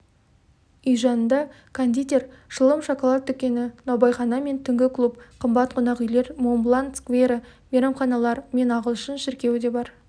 үй жанында кондитер шылым шоколад дүкені наубайхана мен түнгі клуб қымбат қонақүйлер мон-блан сквері мейрамханалар мен ағылшын шіркеуі де бар